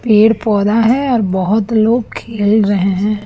पेड़ पौधा है और बहोत लोग खेल रहे हैं।